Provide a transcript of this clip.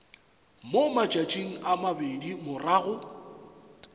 mo matšatšing a mabedi morago